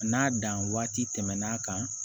N'a dan waati tɛmɛn'a kan